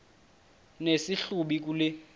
nesi hlubi kule